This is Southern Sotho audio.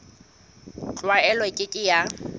tlwaelo e ke ke ya